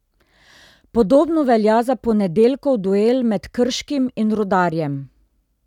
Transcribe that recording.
Podobno velja za ponedeljkov duel med Krškim in Rudarjem.